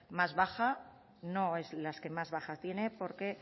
más baja no es las que más baja tiene porque